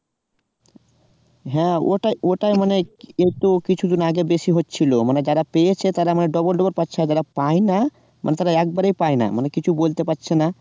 হ্যাঁ ওটাই ওটাই মানে কিন্তু কিছু দিন আগে বেশি হচ্ছিলো মানে যারা পেয়েছে তারা মানে double double পাচ্ছে আর যারা পায়না মানে তারা একেবারেই পাইনা মানে কিছু বলতে পারছে না